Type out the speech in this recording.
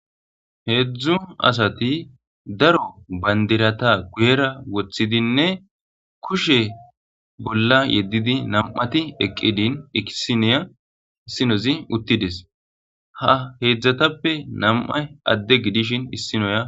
Heedzdzu asati daro bandirata guyera woththidinne kushe bolla yeddidi nam'ati eqqidin eisinoya issinozi uttides ha heedzdzatappe nam'a adde gidishin issinoya.